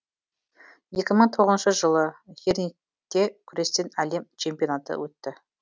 екі мың тоғызыншы жылы хернингте күрестен әлем чемпионаты өтті